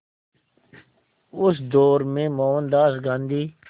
उस दौर में मोहनदास गांधी